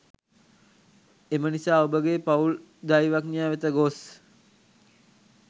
එම නිසා ඔබගේ පවුලේ දෛවඥ වෙත ගොස්